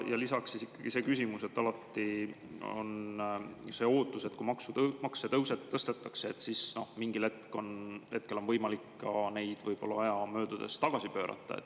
Ja lisaks ikkagi alati see ootus, et kui makse tõstetakse, siis mingil hetkel on võimalik neid võib‑olla aja möödudes tagasi pöörata.